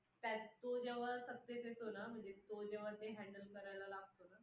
त्यात तो जेंव्हा सत्तेत येतो ना, म्हणजे तो जेंव्हा handle करायला लागतो ना